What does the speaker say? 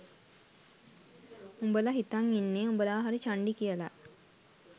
උඹල හිතන් ඉන්නේ උඹල හරි චන්ඩි කියල